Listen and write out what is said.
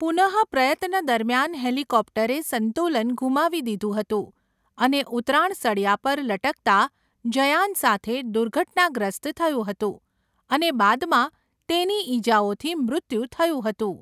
પુનઃપ્રયત્ન દરમિયાન હેલિકોપ્ટરે સંતુલન ગુમાવી દીધું હતું અને ઉતરાણ સળિયા પર લટકતા જયાન સાથે દુર્ઘટનાગ્રસ્ત થયું હતું અને બાદમાં તેની ઈજાઓથી મૃત્યુ થયું હતું.